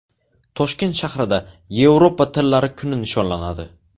Toshkent shahrida Yevropa tillari kuni nishonlanadi.